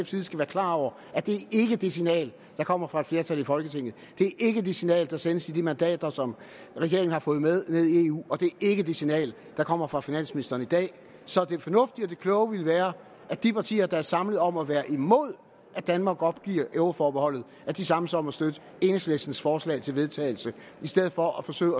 side skal være klar over at det ikke er det signal der kommer fra et flertal i folketinget det er ikke det signal der sendes med de mandater som regeringen har fået med ned i eu og det er ikke det signal der kommer fra finansministeren i dag så det fornuftige og kloge ville være at de partier der er samlet om at være imod at danmark opgiver euroforbeholdet samles om at støtte enhedslistens forslag til vedtagelse i stedet for at forsøge